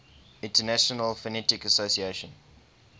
international phonetic association